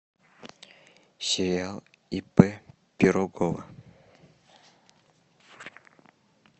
сериал ип пирогова